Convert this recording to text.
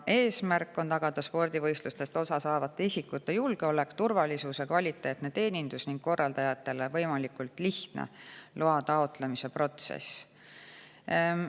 Eesmärk on tagada spordivõistlustest osa saavate isikute julgeolek, turvalisus ja kvaliteetne teenindus ning korraldajatele võimalikult lihtne loa taotlemise protsess.